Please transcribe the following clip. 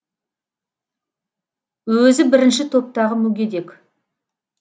өзі бірінші топтағы мүгедек